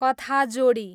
कथाजोडी